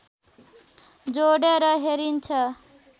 जोडेर हेरिन्छ